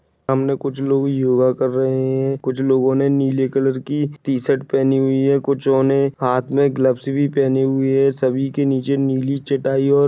सामने कुछ लोग योगा कर रहे हैं कुछ लोगो ने नीले कलर की टी-शर्ट पहनी हुई हैं कुछो ने हाथ में ग्लोव्स भी पहनी हुई हैं सभी के निचे नीली चटाई और--